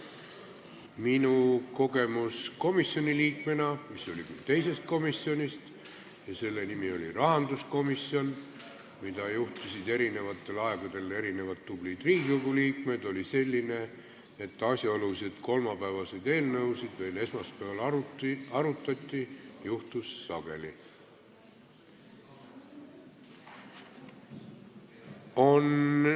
Minu kogemus komisjoni liikmena, mis oli küll teisest komisjonist – selle nimi oli rahanduskomisjon ja seda juhtisid eri aegadel erinevad tublid Riigikogu liikmed –, on selline: seda, et kolmapäevaseid eelnõusid veel esmaspäeval arutati, juhtus sageli.